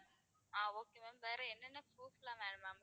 ஆஹ் okay ma'am வேற என்னென்ன proof எல்லாம் வேணும் ma'am